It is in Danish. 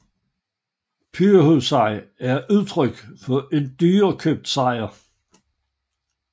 Pyrrhussejr er et udtryk for en dyrekøbt sejr